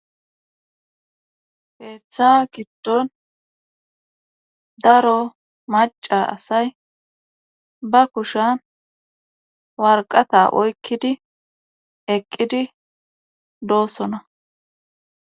Jeeththa giddon daro maca asay ba kushan warqata oykkidi eqqidi doossona